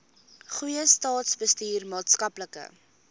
goeie staatsbestuur maatskaplike